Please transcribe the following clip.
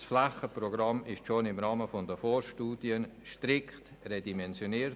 Das Flächenprogramm wurde schon im Rahmen der Vorstudien strikt redimensioniert.